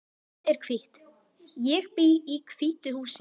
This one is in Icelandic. Þetta hús er hvítt. Ég bý í hvítu húsi.